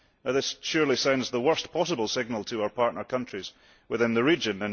This surely sends the worst possible signal to our partner countries within the region.